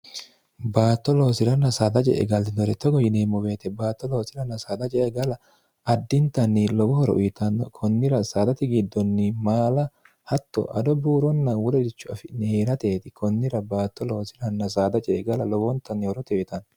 baatto loosiranna saada ce'e gallinore togo yineemmo woyete baatto loosiranna saada ce'e gala addintanni lowo horo uyitanno kunnira saadati giddonni maala hatto addo buuronna wolericho afi'ni hee'rateeti kunnira baatto loosiranna saada ce'e gala lowontanni horo uyitanno.